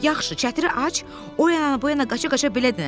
Yaxşı, çətiri aç, o yana, bu yana qaça-qaça belə dəndi.